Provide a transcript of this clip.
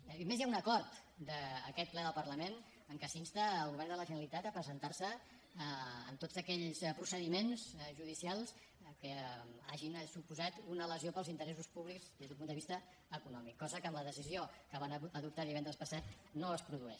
a més hi ha un acord d’aquest ple del parlament en què s’insta el govern de la generalitat a presentar se en tots aquells procediments judicials que hagin suposat una lesió per als interessos públics des d’un punt de vista econòmic cosa que amb la decisió que van adoptar divendres passat no es produeix